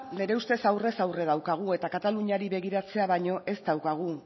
gure ustez aurrez aurre daukagu eta kataluniari begiratzea baino ez daukagu